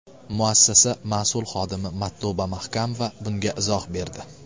Muassasa mas’ul xodimi Matluba Mahkamova bunga izoh berdi.